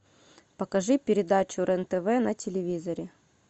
покажи передачу рен тв на телевизоре